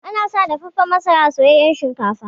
Ana sa dafaffan masara a soyayyan shinkafa.